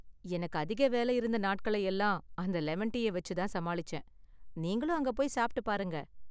எனக்கு அதிக வேல இருந்த நாட்களை எல்லாம் அந்த லெமன் டீய வச்சு தான் சமாளிச்சேன், நீங்களும் அங்க போய் சாப்பிட்டு பாருங்க.